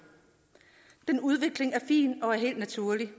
den udvikling er fin og helt naturlig